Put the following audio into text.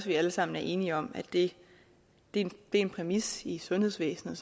vi alle sammen er enige om at det er en præmis i sundhedsvæsenet